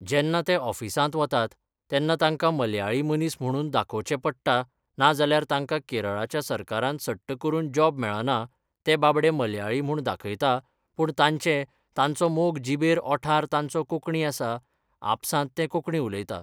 जेन्ना ते ऑफिसांत वतात, तेन्ना तांकां मल्याळी मनीस म्हणून दाखोवचें पडटा नाजाल्यार तांकां केरळाच्या सरकारान सट्ट करून जॉब मेळना ते बाबडे मल्याळी म्हूण दाखयता पूण तांचें तांचो मोग जिबेर ओंठार तांचें कोंकणी आसा आपसांत ते कोंकणी उलयता